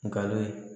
Nkalon